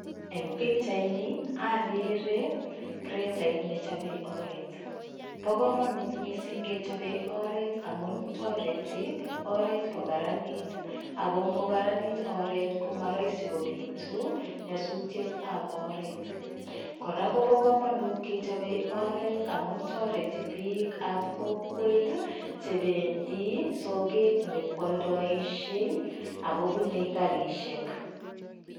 Eng pikchaini akere kretait nechopei oret. Bo komanut mising kechopei oret amun tareti oret kokaranit ako ngokaranit oret ko ma rahisi kobitu nyasutietab oret. Kora kopo komnout kechopei oret amu tareti bikab kokwet chependi soket nyekwaldaishei akobunei karishek.